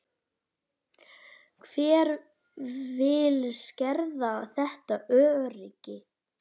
Hver vill skerða þetta öryggi?